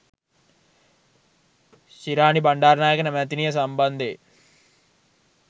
ශිරාණි බණ්ඩාරනායක මැතිනිය සම්බන්ධයෙන්